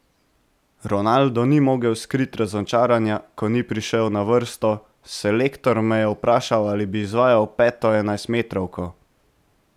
Ronaldo ni mogel skriti razočaranja, ker ni prišel na vrsto: 'Selektor me je vprašal, ali bi izvajal peto enajstmetrovko.